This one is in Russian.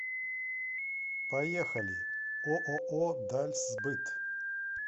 поехали ооо дальсбыт